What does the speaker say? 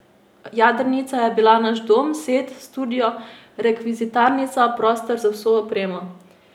Jadrnica je bila naš dom, set, studio, rekvizitarnica, prostor za vso opremo.